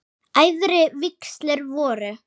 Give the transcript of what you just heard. Æðri vígslur voru